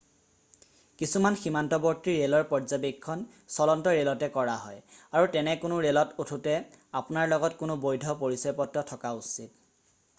কিছুমান সীমান্তৱৰ্তী ৰেলৰ পৰ্যবেক্ষণ চলন্ত ৰেলতে কৰা হয় আৰু তেনে কোনো ৰেলত উঠোতে আপোনাৰ লগত কোনো বৈধ পৰিচয়পত্ৰ থকা উচিত